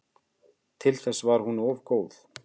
Til þess var hún of góð.